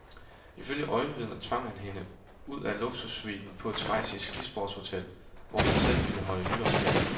Ifølge øjenvidner tvang han hende ud af luksussuiten på et schweizisk skisportshotel, hvor han selv ville holde nytårsferie.